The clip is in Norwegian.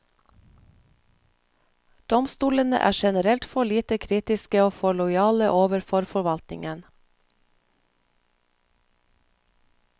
Domstolene er generelt for lite kritiske og for lojale overfor forvaltningen.